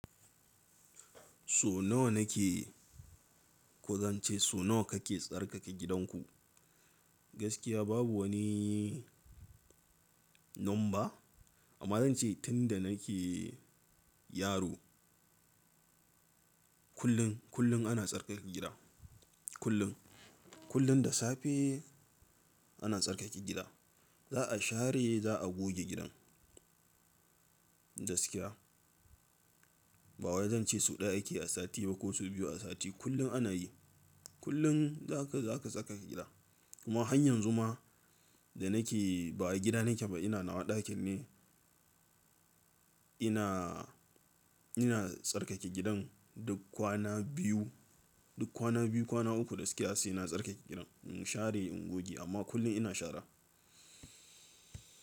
So nawa na ke, ko zan ce so nawa ka ke tsarkake gidanku? Gaskiya babu wani number, amma zan ce tunda na ke yaro kullum, kullum ana tsarkake gida. Kullum, kullum da safe ana tsarkake gida. Za a share, za a goge gidan gaskiya. Ba wai zan ce sau ɗaya ake a sati ba ko sau biyu a sati, kullum ana yi. Kullum za ka, za ka tsarkake gida. Amma hanyar zuma da na ke, ba gida na ke ba ina na wa ɗakin ne. Ina, ina tsarkake gidan duk kwana biyu, duk kwana biyu, kwana uku gaskiya sai na tsarkake gidan. In share, in goge amma kullum ina shara.